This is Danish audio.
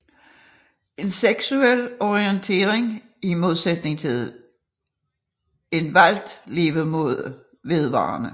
En seksuel orientering er i modsætning til en valgt levemåde vedvarende